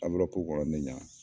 kɔnɔ ne ɲɛna